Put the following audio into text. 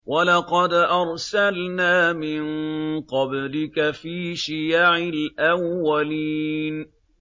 وَلَقَدْ أَرْسَلْنَا مِن قَبْلِكَ فِي شِيَعِ الْأَوَّلِينَ